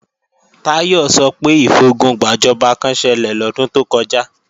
Táyọ̀ sọ pé ìfogun gbàjọba kán ṣẹlẹ̀ lọ́dún tó kọjá